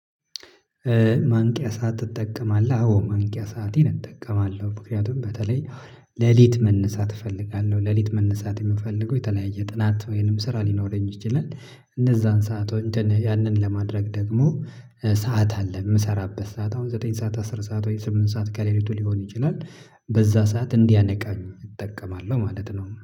ማንቂያ ሰዓት ትጠቀማለህ? አዎ ማንቂያ ሰአቴን እጠቀማለሁ። ምክንያቱም በተለይ ሌሊት መነሳት እፈልጋለሁ፤ ሌሊት መነሳት የምፈልገው የተለያየ ጥናት ወይንም ስራ ሊኖረኝ ይችላል፤ እነዛን ሰዓት ያንን ለማድረግ ደግሞ ሰዓት አለ የምሰራበት ሰዓት አሁን ዘጠኝ ሰዓት፤ አስር ሰዓት፤ ወይ ስምንት ሰዓት ከሌሊቱ ሊሆን ይችላል። በዛ ሰዓት እንዲያነቃኝ እጠቀማለሁ ማለት ነው።